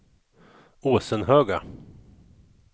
Åsenhöga